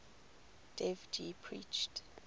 dev ji preached